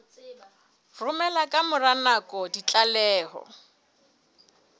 romela ka mora nako ditlaleho